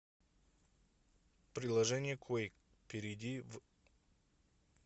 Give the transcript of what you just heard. приложение куек перейди в